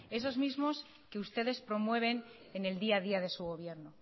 esos mismos que ustedes promueven en el día a día de su gobierno